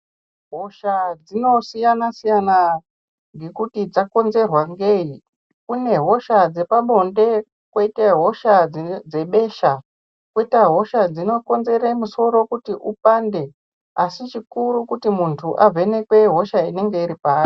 Hosha dzinosiyanasiyana nekuti dzakonzerwa ngei. Kune hosha dzepabonde koita hosha dzebesha koita hosha dzinokonzera musoro kuti upande asi chikuru kuti muntu uvhenekwe hosha inenge iri paari